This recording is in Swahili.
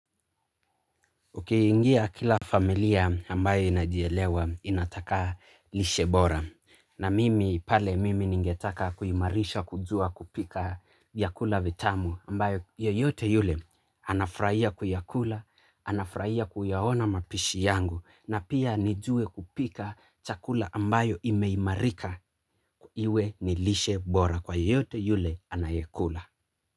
Ukiingia kila familia ambayo inajielewa inataka lishe bora na mimi pale mimi ningetaka kuimarisha kujua kupika vyakula vitamu ambayo yoyote yule anafurahia kuyakula, anafrahia kuyaona mapishi yangu na pia nijue kupika chakula ambayo imeimarika iwe ni lishe bora kwa yeyote yule anayeikula.